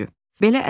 Üçüncü.